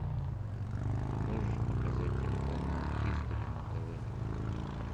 ты можешь показать телеканал хистори на тв